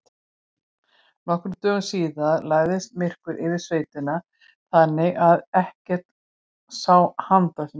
Nokkrum dögum síðar lagðist myrkur yfir sveitina þannig að ekki sá handa skil.